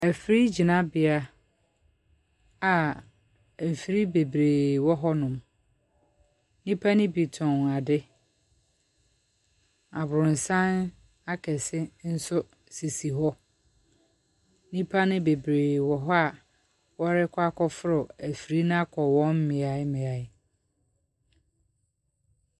Mfiri gyinabea a mfiri bebree wɔ hɔnom. Nnipa ne bi tɔn ade, abrɔsan akɛse nso sisi hɔ. Nnipa bebree wɔ hɔ a wɔrekɔ akɔforo mfiri no akɔ wɔn mmeammea.